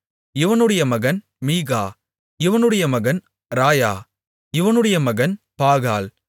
இவனுடைய மகன் மீகா இவனுடைய மகன் ராயா இவனுடைய மகன் பாகால்